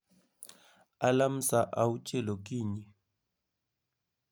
alarm saa auchiel okinyi